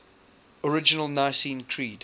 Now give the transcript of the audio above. original nicene creed